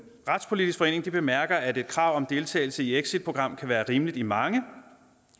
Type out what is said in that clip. retspolitisk forening bemærker at et krav om deltagelse i exitprogram kan være rimeligt i mange